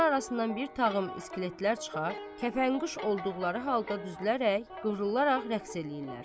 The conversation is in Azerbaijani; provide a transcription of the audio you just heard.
Ağzı arasından bir tağım iskeletlər çıxar, kəfənquş olduqları halda düzlərək qırılaraq rəqs eləyirlər.